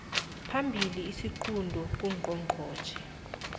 phambili isiqunto kungqongqotjhe